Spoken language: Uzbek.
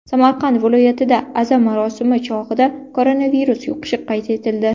Samarqand viloyatida aza marosimi chog‘ida koronavirus yuqishi qayd etildi.